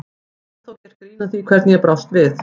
Það er ennþá gert grín að því hvernig ég brást við.